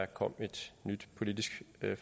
kom et nyt politisk